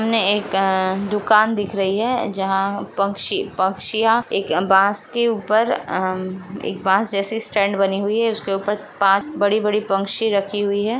सामने एक अ दुकान दिख रही है जहां पक्छी-पक्षिया एक बांस के ऊपर अ एक बांस जैसे स्टैंड बनी हुई है उसके ऊपर पाच बड़ी-बड़ी पक्षी रखी हुई है।